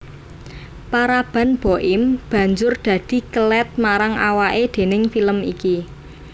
Paraban Boim banjur dadi kelèt marang awaké déning film iki